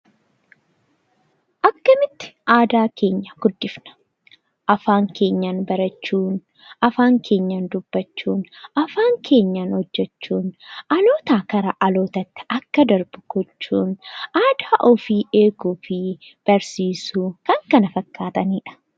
Akkamitti aadaa keenya guddifna? Afaan keenyaan barachuun, afaan keenyaan dubbachuun, afaan keenyaan hojjachuun dhalootaa gara dhalootaatti akka darbu gochuun, aadaa ofii eeguu fi barsiisuu fi kan kana fakkaataniidha.